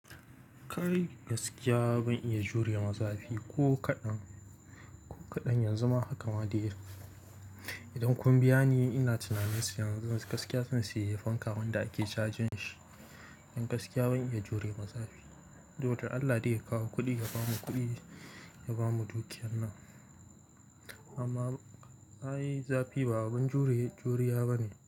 Kai gaskiya ban iya jure mazafi ko kaɗan, ko kaɗan yanzu ma haka ma dai. Idan kun biya ni ina tunanin yanzu gaskiya zan sayi fanka wanda ake cajin shi. Don gaskiya ban iya jure mazafi. Dudai Allah dai ya kawo kuɗi ya bamu kuɗi ya bamu dukiyar nan. Amma ai zafi ba abin jure-juriya ba ne.